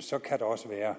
så kan der også være